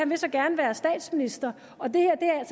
vil så gerne være statsminister og det her